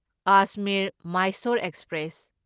Ajmer Mysore express